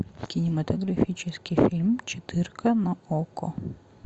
кинематографический фильм четырка на окко